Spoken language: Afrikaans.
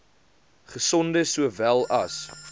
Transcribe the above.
gesonde sowel as